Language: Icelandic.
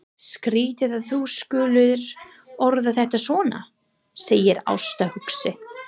Skrýtið að þú skulir orða þetta svona, segir Ásta hugsi.